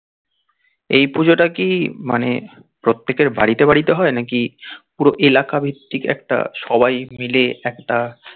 এই পুজোটা কি মানে প্রত্যেকের বাড়িতে বাড়িতে হয় না কি পুরো এলাকা ভিত্তিক একটা সবাই মিলে একটা